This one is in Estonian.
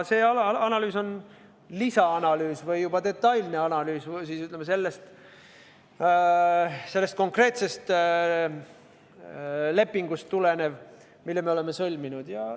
See analüüs on lisaanalüüs või juba detailne analüüs, mis tuleneb sellest konkreetsest lepingust, mille me oleme sõlminud.